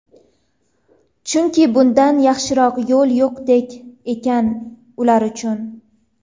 Chunki bundan yaxshiroq yo‘l yo‘qdek ekan ular uchun.